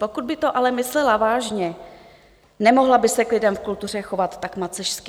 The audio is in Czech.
Pokud by to ale myslela vážně, nemohla by se k lidem v kultuře chovat tak macešsky.